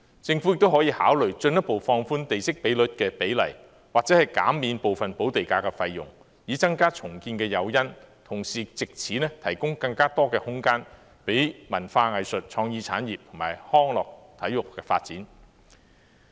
政府亦可以考慮進一步放寬地積比率，或者減免部分補地價的費用，以增加重建的誘因，同時藉此提供更多空間讓文化藝術、創意產業及康樂體育發展。